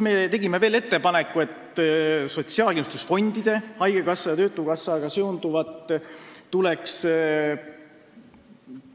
Me tegime veel ettepaneku, et sotsiaalkindlustusfondidega, haigekassa ja töötukassaga seonduvat tuleks